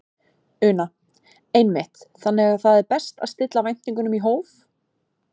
Una: Einmitt, þannig að það er best svona að stilla væntingunum í hóf?